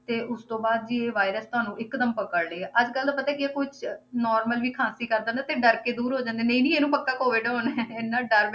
ਤੇ ਉਸਤੋਂ ਬਾਅਦ ਵੀ ਇਹ virus ਤੁਹਾਨੂੰ ਇੱਕਦਮ ਪਕੜ ਲਏਗਾ, ਅੱਜ ਕੱਲ੍ਹ ਤਾਂ ਪਤਾ ਕੀ ਹੈ ਕੁਛ normal ਵੀ ਖਾਂਸੀ ਕਰਦਾ ਨਾ ਤੇ ਡਰ ਕੇ ਦੂਰ ਹੋ ਜਾਂਦੇ ਹਾਂ ਨਹੀਂ ਨਹੀਂ ਇਹਨੂੰ ਪੱਕਾ COVID ਹੋਣਾ ਹੈ, ਇੰਨਾ ਡਰ